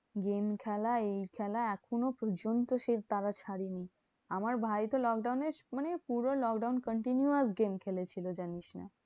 Game খেলা এই খেলা এখনো পর্যন্ত সেই তারা ছাড়ে নি। আমার ভাই তো lockdown এ মানে পুরো lockdown continuous game খেলেছিল জানিস না।